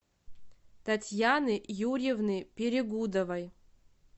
татьяны юрьевны перегудовой